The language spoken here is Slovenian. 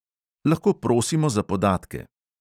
Lahko prosimo za podatke.